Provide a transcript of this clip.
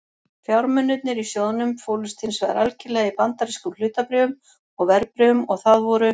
Fjármunirnir í sjóðnum fólust hins vegar algerlega í bandarískum hlutabréfum og verðbréfum og það voru